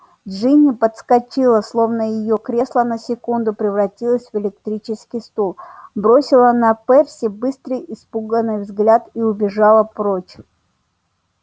джинни подскочила словно её кресло на секунду превратилось в электрический стул бросила на перси быстрый испуганный взгляд и убежала прочь